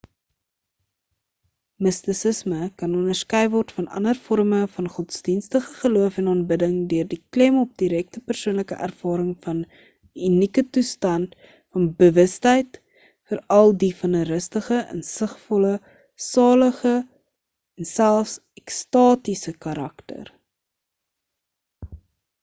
mistisisme kan onderskei word van ander vorme van godsdienstige geloof en aanbidding deur die klem op direkte persoonlike ervaring van 'n unieke toestand van bewustheid veral die van 'n rustige insigvolle salige en selfs ekstatiese karakter